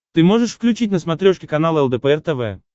ты можешь включить на смотрешке канал лдпр тв